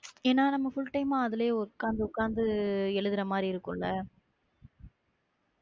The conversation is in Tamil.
ஏன்னா நம்ம full time மா அதுல உட்கார்ந்து, உட்கார்ந்து எழுதுற மாதிரி இருக்கும்ல